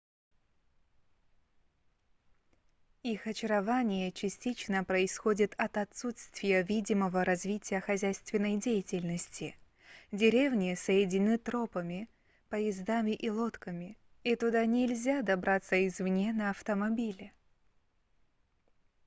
их очарование частично происходит от отсутствия видимого развития хозяйственной деятельности деревни соединены тропами поездами и лодками и туда нельзя добраться извне на автомобиле